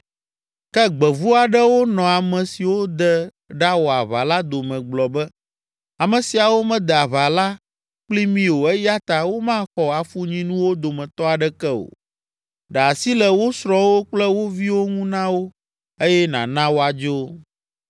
Ke gbevu aɖewo nɔ ame siwo de ɖawɔ aʋa la dome gblɔ be, “Ame siawo mede aʋa la kpli mí o eya ta womaxɔ afunyinuwo dometɔ aɖeke o. Ɖe asi le wo srɔ̃wo kple wo viwo ŋu na wo eye nàna woadzo.”